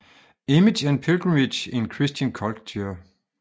Image and Pilgrimage in Christian Culture